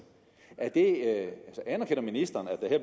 anerkender ministeren at der